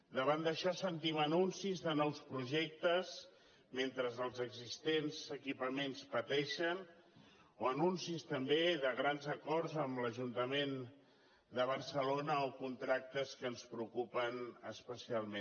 davant d’això sentim anuncis de nous projectes mentre els existents equipaments pateixen o anuncis també de grans acords amb l’ajuntament de barcelona o contractes que ens preocupen especialment